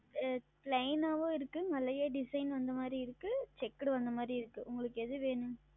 ஆஹ் Plain ஆவும் இருக்கு அதுலயே Design வந்த மாறியும் இருக்கு Checked வந்த மாறியும் இருக்கு. உங்களுக்கு எது வேணும்.